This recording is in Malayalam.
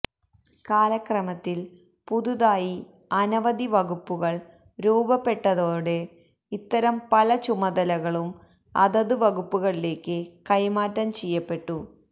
കാലക്രമത്തിൽ പുതുതായി അനവധി വകുപ്പുകൾ രൂപപ്പെട്ടതോടെ ഇത്തരം പല ചുമതകളും അതത് വകുപ്പുകളിലേക്ക് കൈമാറ്റം ചെയ്യപ്പെട്ടു